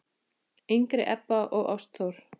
yngri Ebba og Ástþór.